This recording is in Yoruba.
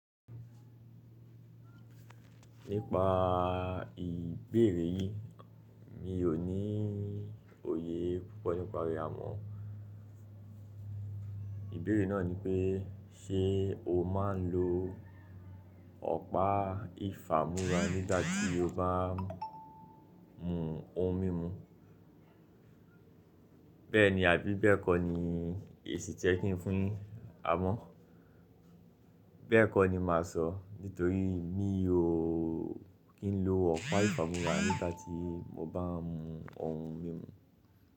Nípa ìbéèrè yín, mi ò ní òye púpọ̀ nípa rẹ́ amọ. Ìbéèrè náà nipé ṣe o máa ń lo ọ̀pá ìfámúrà nígbà tí o bá mú ohun mímu. Bẹ́ẹ̀ni àbí bẹ́ẹ̀ kọ́ ni èsì to yẹ́ kìn fún yin amọ? Bẹ́ẹ̀ kọ́ ni màá sọ nítorí mi ò kín lo ọ̀pá ìfámúrà nígbà tí mo bá mú ohun mímu.